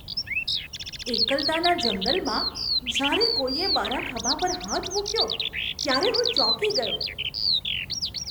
એકલતાના જંગલમાં જ્યારે કોઈએ મારા ખભા પર હાથ મૂક્યો, ત્યારે હું ચોંકી ગયો.